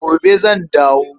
Gobe zan dawo.